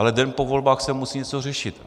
Ale den po volbách se musí něco řešit.